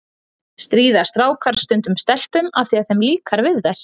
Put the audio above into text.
Stríða strákar stundum stelpum af því að þeim líkar við þær?